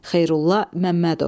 Xeyrullah Məmmədov.